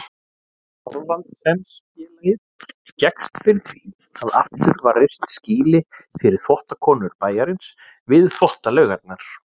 Thorvaldsensfélagið gekkst fyrir því að aftur var reist skýli fyrir þvottakonur bæjarins við Þvottalaugarnar.